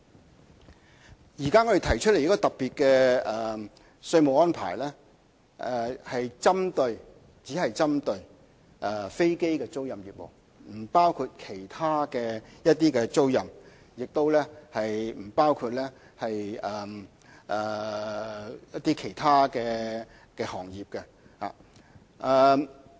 我們現時提出特別的稅務安排，只是針對飛機的租賃業務，不包括其他租賃，也不包括其他行業。